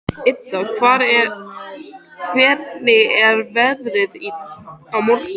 Ida, hvernig er veðrið á morgun?